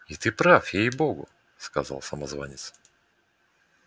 и ты прав ей-богу прав сказал самозванец